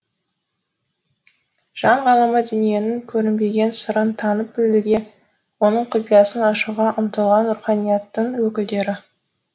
жан ғалымы дүниенің көрінбеген сырын танып білуге оның құпиясын ашуға ұмтылған руханияттын өкілдері